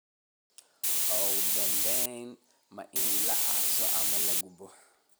Oo dhibbanaha ma in la aaso ama la gubo?